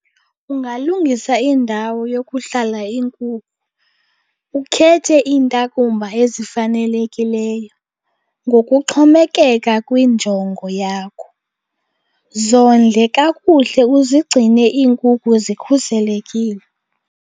Ungalungisa indawo yokuhlala iinkukhu, ukhethe iintakumba ezifanelekileyo ngokuxhomekeka kwinjongo yakho. Zondle kakuhle uzigcine iinkukhu zikhuselekile.